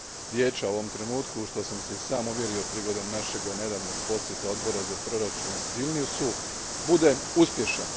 Vijeća u ovom trenutku, u što sam se i sam uvjerio prigodom našega nedavnog posjeta odbora za proračun Vilniusu, bude uspješan.